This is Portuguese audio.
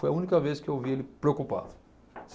Foi a única vez que eu vi ele preocupado.